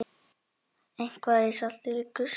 Eitthvað liggur í salti